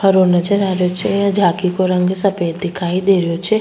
हरो नजर आ रो छे झाकी को रंग सफ़ेद दिखाई दे रो छे।